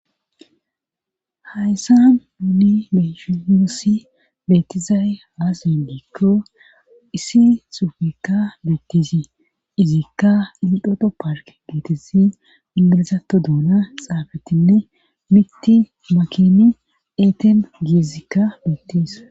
hayssa nuuni meshiusi beettizay haasiindiikko issi xuufikka beettizi izikka ildhoto park geetesi indilezato duuna xaafetinne mitti makini eeten giezikka beettis